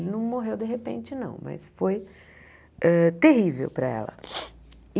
Ele não morreu de repente, não, mas foi hã terrível para ela. E